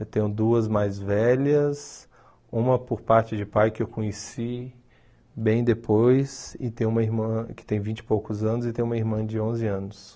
Eu tenho duas mais velhas, uma por parte de pai que eu conheci bem depois, e tenho uma irmã que tem vinte e poucos anos, e tem uma irmã de onze anos.